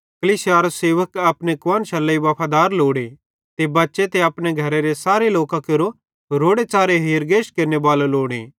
कलीसियारो सेवक अपने कुआन्शरे लेइ वफादार लोड़े ते बच्चां ते अपने घरेरे सारे लोकां केरो रोड़ो च़ारे हेरगेश केरनेबालो लोड़े